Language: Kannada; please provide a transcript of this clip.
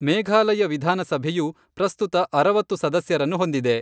ಮೇಘಾಲಯ ವಿಧಾನ ಸಭೆಯು ಪ್ರಸ್ತುತ ಅರವತ್ತು ಸದಸ್ಯರನ್ನು ಹೊಂದಿದೆ.